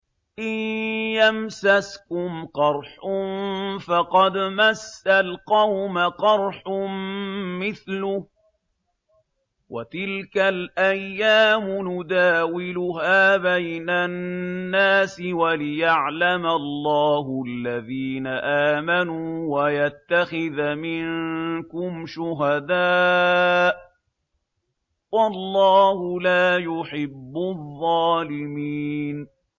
إِن يَمْسَسْكُمْ قَرْحٌ فَقَدْ مَسَّ الْقَوْمَ قَرْحٌ مِّثْلُهُ ۚ وَتِلْكَ الْأَيَّامُ نُدَاوِلُهَا بَيْنَ النَّاسِ وَلِيَعْلَمَ اللَّهُ الَّذِينَ آمَنُوا وَيَتَّخِذَ مِنكُمْ شُهَدَاءَ ۗ وَاللَّهُ لَا يُحِبُّ الظَّالِمِينَ